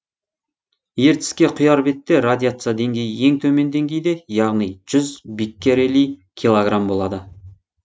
ертіске құяр бетте радиация деңгейі ең төмен деңгейде яғни жүз биккерели килограмм болады